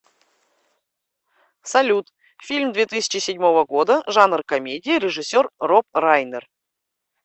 салют фильм две тысячи седьмого года жанр комедия режиссер роб райнер